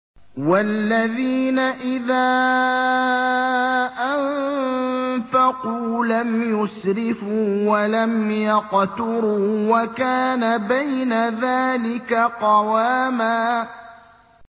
وَالَّذِينَ إِذَا أَنفَقُوا لَمْ يُسْرِفُوا وَلَمْ يَقْتُرُوا وَكَانَ بَيْنَ ذَٰلِكَ قَوَامًا